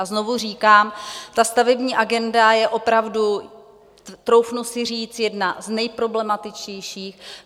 A znovu říkám, ta stavební agenda je opravdu, troufnu si říct, jedna z nejproblematičtějších.